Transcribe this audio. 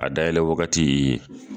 A da yɛlɛ wagati i